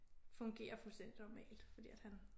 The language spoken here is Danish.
Fungere fuldstændig normalt fordi at han